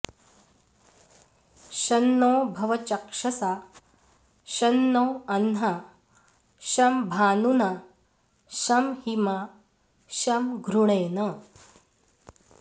शं नो भव चक्षसा शं नो अह्ना शं भानुना शं हिमा शं घृणेन